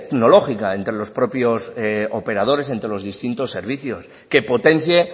tecnológica entre los propios operadores entre los distintos servicios que potencie